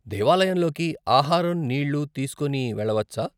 దేవాలయంలోకి ఆహారం, నీళ్లు తీసుకుని వెళ్లవచ్చా ?